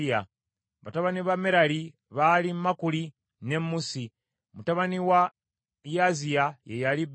Batabani ba Merali baali Makuli ne Musi. Mutabani wa Yaaziya ye yali Beno.